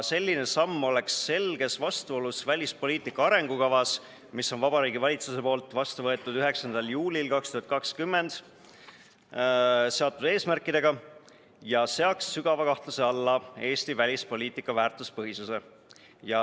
Selline samm oleks selges vastuolus Vabariigi Valitsuse poolt 9. juulil 2020 vastu võetud välispoliitika arengukavas seatud eesmärkidega ja seaks sügava kahtluse alla Eesti välispoliitika väärtuspõhisuse.